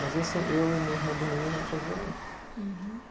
Mas esse, eu e meu irmão do meio, a gente ajudou muito. Hurum.